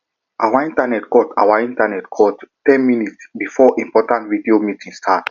our internet cut our internet cut ten minutes before important video meeting start